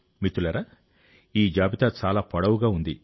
మిత్రులారా ఈ జాబితా చాలా పొడవుగా ఉంది